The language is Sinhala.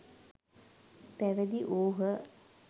පැවිදි වූහ.